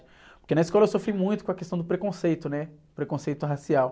Porque na escola eu sofri muito com a questão do preconceito, né? Preconceito racial.